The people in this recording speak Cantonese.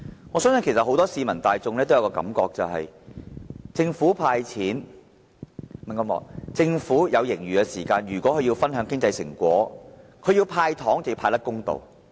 我相信市民大眾有多一個感覺，就是政府有盈餘而要與市民分享經濟成果，那麼要"派糖"便要派得公道。